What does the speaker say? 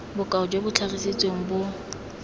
bokao jo bo tlhagisitsweng bo